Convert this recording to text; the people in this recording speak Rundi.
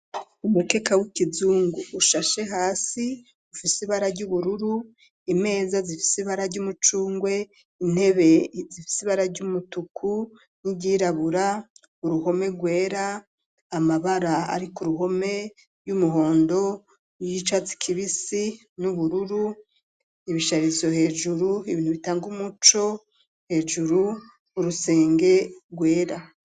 Umukeka w'ikizungu ushashe hasi ufise ibara ry'ubururu ,imeza zifise ibara ry'umucungwe, intebe zifise ibara ry'umutuku ,n'igirabura uruhome rwera ,amabara ari ko ruhome ry'umuhondo y'icatsi kibisi, n'ubururu ibisharizo hejuru ibintu bitanga umuco hejuru urusenge rwera.